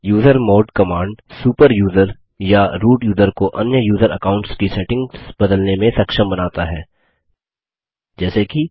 usermod command super user या root user को अन्य यूज़र अकाउंट्स की सेटिंग्स बदलने में सक्षम बनता है जैसे कि